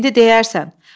İndi deyərsən.